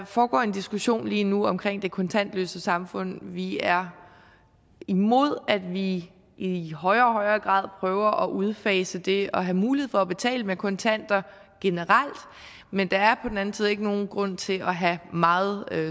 foregår en diskussion lige nu omkring det kontantløse samfund vi er imod at vi i højere og højere grad prøver at udfase det at have mulighed for at betale med kontanter generelt men der er på den anden side ikke nogen grund til at have meget